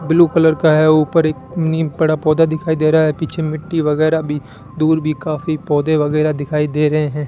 Blue colour का है ऊपर एक नीम पड़ा पौधा दिख रहा है पीछे मिट्टी वगैरा भी दूर भी काफी पौधे वगैराह दिखाई दे रहे हैं।